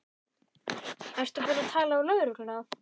Ertu búin að tala við lögregluna?